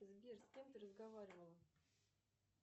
сбер с кем ты разговаривала